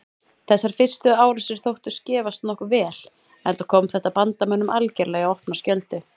Þessar fyrstu árásir þóttust gefast nokkuð vel enda kom þetta bandamönnum algerlega í opna skjöldu.